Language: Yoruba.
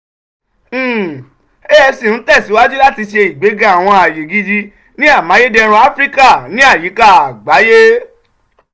um afc n tẹsiwaju lati ṣe igbega awọn aye gidi ni amayederun afirika ni ayika agbaye.